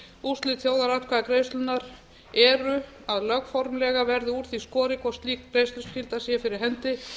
úrslit þjóðaratkvæðagreiðslunnar eru að lögformlega verði úr því skorið hvort slík greiðsluskylda er fyrir hendi